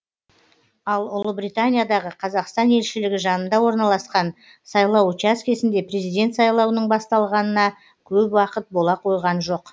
ал ұлыбританиядағы қазақстан елшілігі жанында орналасқан сайлау учаскісінде президент сайлауының басталғанына көп уақыт бола қойған жоқ